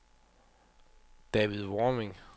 David Warming